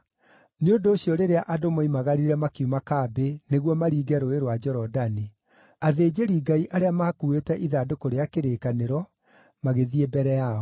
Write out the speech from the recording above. Nĩ ũndũ ũcio rĩrĩa andũ moimagarire makiuma kambĩ nĩguo maringe Rũũĩ rwa Jorodani, athĩnjĩri-Ngai arĩa maakuuĩte ithandũkũ rĩa kĩrĩkanĩro magĩthiĩ mbere yao.